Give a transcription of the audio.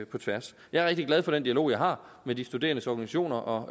på tværs jeg er rigtig glad for den dialog jeg har med de studerendes organisationer og